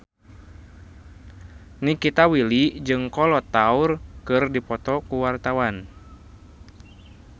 Nikita Willy jeung Kolo Taure keur dipoto ku wartawan